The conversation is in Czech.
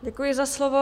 Děkuji za slovo.